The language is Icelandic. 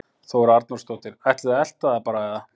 Þóra Arnórsdóttir: Ætlið þið að elta það bara eða?